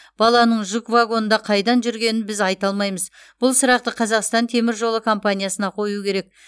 баланың жүк вагонында қайдан жүргенін біз айта алмаймыз бұл сұрақты қазақстан темір жолы компаниясына қоюы керек